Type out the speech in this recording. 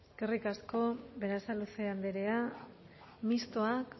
eskerrik asko berasaluze andrea mistoak